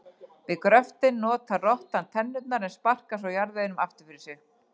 Við gröftinn notar rottan tennurnar en sparkar svo jarðveginum aftur fyrir sig.